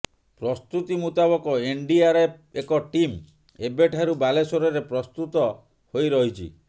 ପ୍ରସ୍ତୁତି ମୁତାବକ ଏନଡିଆରଏଫ ଏକ ଟିମ ଏବେଠାରୁ ବାଲେଶ୍ୱରରେ ପ୍ରସ୍ତୁତ ହୋଇ ରହିଛି